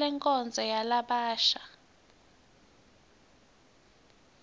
lenkonzo yalabasha